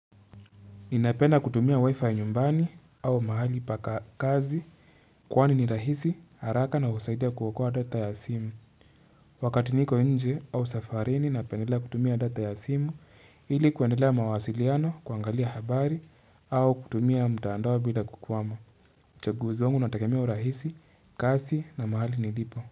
Ninapenda kutumia wi-fi nyumbani au mahali pa ka kazi kwani ni rahisi haraka na husaidia kuokoa data ya simu. Wakati niko nje au safarini napendelea kutumia data ya simu ili kuendelea mawasiliano kuangalia habari au kutumia mtaandao bila kukwama. Chaguzi wangu unatekemea urahisi, kasi na mahali nilipo.